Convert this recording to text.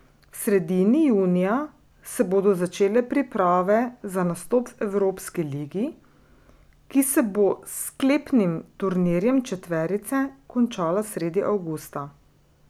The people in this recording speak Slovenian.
V sredini junija se bodo začele priprave za nastop v evropski ligi, ki se bo s sklepnim turnirjem četverice končala sredi avgusta.